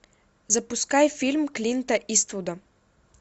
запускай фильм клинта иствуда